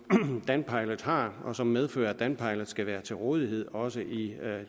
danpilot har og som medfører at danpilot skal være til rådighed også i